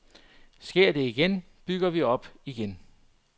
Sker det igen, bygger vi op igen.